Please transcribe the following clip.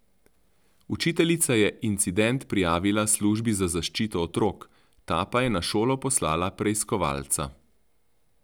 Učiteljica je incident prijavila službi za zaščito otrok, ta pa je na šolo poslala preiskovalca.